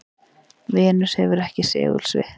venus hefur ekki segulsvið